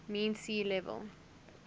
mean sea level